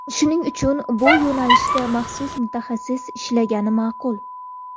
Shuning uchun bu yo‘nalishda maxsus mutaxassis ishlagani ma’qul.